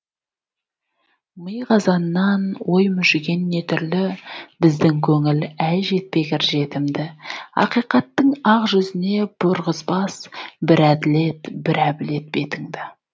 ми қазаннан ой мүжіген не түрлі біздің көңіл әй жетпегір жетім ді ақиқаттың ақ жүзіне бұрғызбас бірі әділет бірі әбілет бетіңді